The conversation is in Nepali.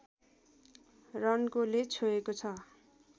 रन्कोले छोएको छ